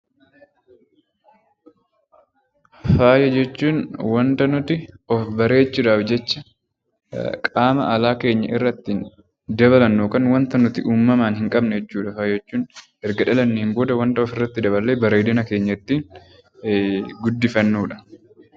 Faaya jechuun wanta nuti of bareechuu dhaaf jecha qaama alaa keenya irratti dabalannu yookaan wanta nuti uumamaan hin qabne jechuu dha faaya jechuun. Erga dhalanneen booda wanta of irratti daballee bareedina keenya ittiin guddifannu dha.